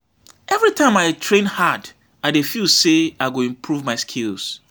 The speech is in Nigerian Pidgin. Every time I train hard, I dey feel say I go improve my skills.